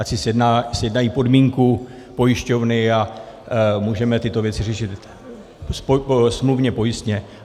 Ať si sjednají podmínku pojišťovny a můžeme tyto věci řešit smluvně pojistně.